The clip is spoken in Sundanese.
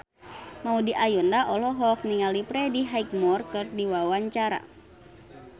Maudy Ayunda olohok ningali Freddie Highmore keur diwawancara